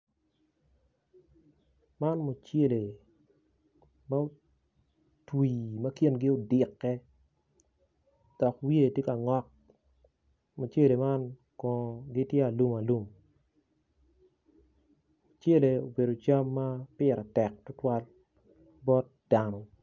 Man mucele ma otwi ma kingi odikke dok wiye tye ka ngok mucele man kono gitye alumalum mucele obedo cam ma pire tek tutwal bot dano.